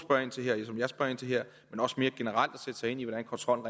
jeg spørger ind til her men også mere generelt sætte sig ind i hvordan kontrollen